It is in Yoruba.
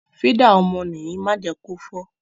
Fídà ọmọ nìyí má jẹ kí ó fọ́.